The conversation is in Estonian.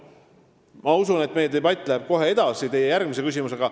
Ma usun, et meie debatt läheb kohe edasi teie järgmise küsimusega.